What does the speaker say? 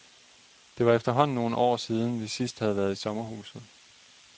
Det var efterhånden nogle år siden, vi sidst havde været i sommerhuset.